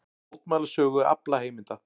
Mótmæla sölu aflaheimilda